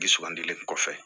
Dugandili kɔfɛ